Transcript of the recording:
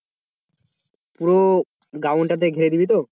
পুরো ground টাকে ঘিরে দিবি তো?